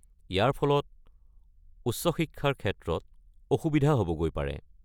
ইয়াৰ ফলত উচ্চ শিক্ষাৰ ক্ষেত্ৰত অসুবিধা হ’বগৈ পাৰে।